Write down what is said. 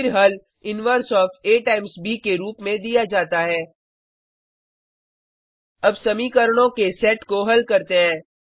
फिर हल inverse of आ टाइम्स ब के रूप में दिया जाता है अब समीकरणों के सेट को हल करते हैं